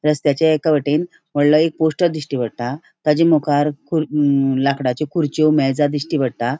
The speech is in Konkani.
रस्त्याचे एका वटेंन वडलों एक पोस्टर दिश्टी पट्टा ताचे मुकार लाकड्याच्यो मे खुरच्यो मेजा दिश्टी पट्टा.